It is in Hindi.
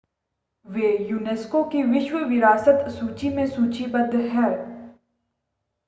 वे यूनेस्को की विश्व विरासत सूची में सूचीबद्ध हैं